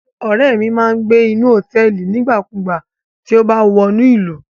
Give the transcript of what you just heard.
Ọrẹ mi má n gbe ni hotẹẹli nigbakugba ti o ba wa wọnu ilu